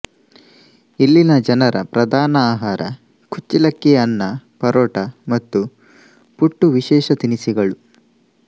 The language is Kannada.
ಇಲ್ಲಿನ ಜನರ ಪ್ರಧಾನ ಆಹಾರ ಕುಚ್ಚಿಲಕ್ಕಿಯ ಅನ್ನ ಪರೋಟಾ ಮತ್ತು ಪುಟ್ಟು ವಿಶೇಷ ತಿನಿಸುಗಳು